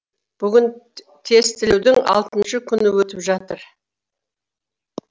бүгін тестілеудің алтыншы күні өтіп жатыр